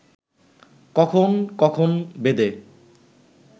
কখন কখন বেদে